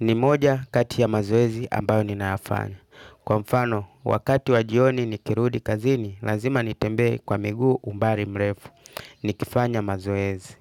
Ni moja kati ya mazoezi ambayo ninayafanya. Kwa mfano, wakati wa jioni nikirudi kazini, lazima nitembee kwa miguu umbali mrefu. Nikifanya mazoezi.